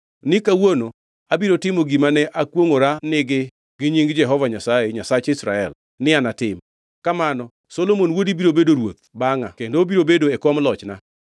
ni kawuono abiro timo gima ne akwongʼorani gi nying Jehova Nyasaye, Nyasach Israel ni anatim: Kamano Solomon wuodi biro bedo ruoth bangʼa kendo obiro bedo e kom lochna.”